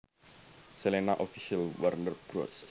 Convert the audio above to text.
Selena Official Warner Bros